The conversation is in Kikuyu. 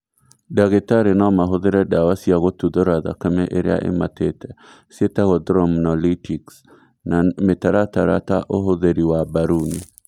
Ndagĩtarĩ nomahũthĩre ndawa cia gũtuthũra thakame ĩrĩa ĩmatĩte ciĩtagwo thromnolytics na mĩtaratara ta ũhũthĩri wa mbaruni